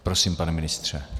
Prosím, pane ministře.